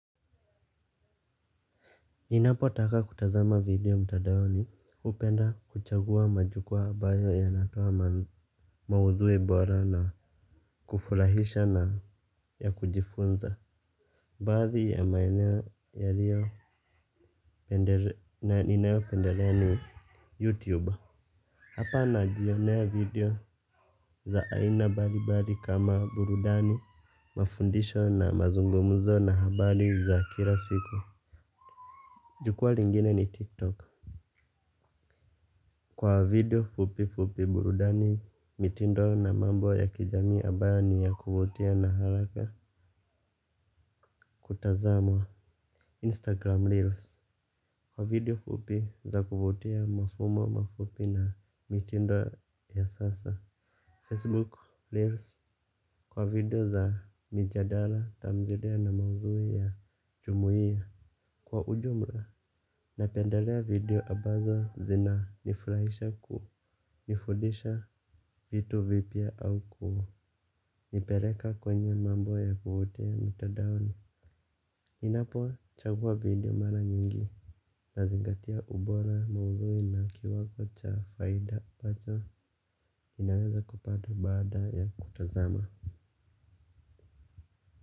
Ninapo taka kutazama video mtadaoni upenda kuchagua majukua abayo yanatoa maudhui bora na kufurahisha na ya kujifunza. Baadhi ya maeneo yaliyo na ninayo pendelea ni youtube. Hapa najionea video za aina bali bali kama burudani mafundisho na mazungumuzo na habari za kila siku. Jukua lingine ni tiktok. Kwa video fupi fupi burudani mitindo na mambo ya kijamii abayo ni ya kuvutia na haraka kutazamwa Instagram Reels. Kwa video fupi za kuvutia mafumo mafupi na mitindo ya sasa Facebook Reels. Kwa video za mijadala tamthilia na maudhui ya chumuia. Kwa ujumla. Napeandalea video abazo zina nifurahisha kunifudisha vitu vipya au kunipeleka kwenye mambo ya kuvutia mtadaon. Ninapo chagua video mara nyingi. Nazingatia ubora maudhui na kiwango cha faida ampacho inaweza kupata baada ya kutazama.